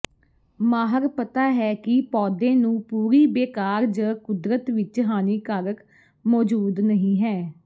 ਮਾਹਰ ਪਤਾ ਹੈ ਕਿ ਪੌਦੇ ਨੂੰ ਪੂਰੀ ਬੇਕਾਰ ਜ ਕੁਦਰਤ ਵਿਚ ਹਾਨੀਕਾਰਕ ਮੌਜੂਦ ਨਹੀ ਹੈ